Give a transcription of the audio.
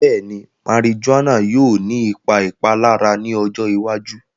Bẹ́ẹ̀ni, marijuana yóò ní ìpà ìpàlàrà ní ọjọ́ ìwàjú